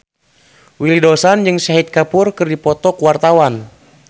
Willy Dozan jeung Shahid Kapoor keur dipoto ku wartawan